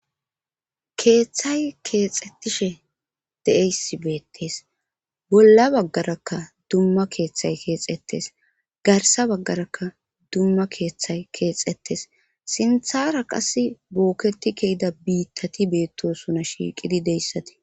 keeththay keexettishe de7eysi beettes bolla baggarakka dumma keeththay keexettes garsa baggarakka dumma keeththay keexettes sinthara qass bookketi kehida biittati beettosuna shiiqidi deyssatii